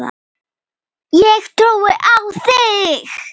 Ég trúi á þig!